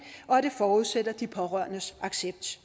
og at det forudsætter de pårørendes accept